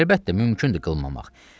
Əlbəttə, mümkündür qılmamaq.